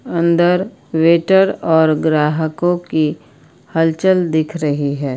अंदर वेटर और ग्राहकों की हलचल दिख रही है।